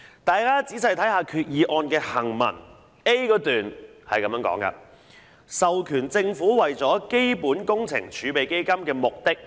大家仔細看看擬議決議案的行文 ，a 段說"授權政府為基本工程儲備基金的目的......